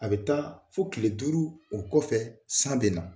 A bɛ taa fo kile duuru o kɔfɛ san be na